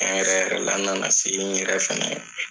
yɛrɛ yɛrɛ la n na na se n yɛrɛ fana